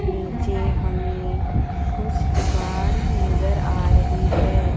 नीचे हमें कुछ दुकान नजर आ रही है।